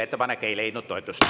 Ettepanek ei leidnud toetust.